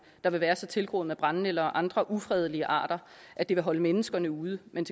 der vil være så tilgroet med brændenælder og andre ufredelige arter at det vil holde menneskene ude men